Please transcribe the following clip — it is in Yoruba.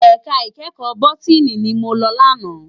Èká ikèékò bótìní ni mó lò làná